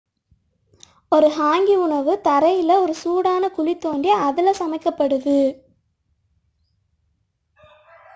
ஒரு ஹாங்கி உணவு தரையில் ஒரு சூடான குழி தோண்டி அதில் சமைக்கப்படுகிறது